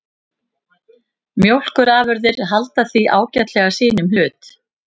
Mjólkurafurðir halda því ágætlega sínum hlut